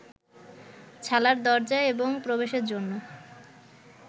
ছালার দরজা এবং প্রবেশের জন্য